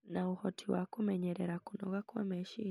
na ũhoti wa kũmenyerera kũnoga kwa meciria.